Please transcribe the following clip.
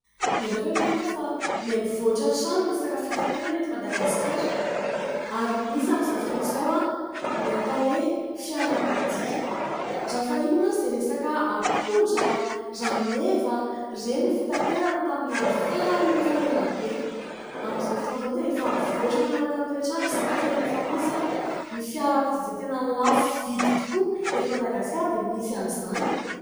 Ianareo ve mahita fa mihamivoatra hatrany resaka fitaterana ety Madagasikara ? Ary misy amin'izao fotoan'izao ny atao hoe fiarakodia. Raha fahiny mantsy dia resaka ampondra, rameva ireny ny fitaterana tamin'ny andro fahiny efa elabe. Amin'izao fotoan'izao dia efa mivoatra manaraka ny toetr'andro izany ary tena efa misy ny fiarakodia izay tena lafo vidy tokoa eto Madagasikara dia misy an'izany.